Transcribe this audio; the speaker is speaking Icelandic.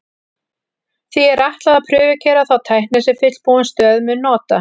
Því er ætlað að prufukeyra þá tækni sem fullbúin stöð mun nota.